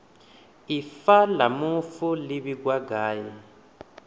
ifa la mufu li vhigwa ngafhi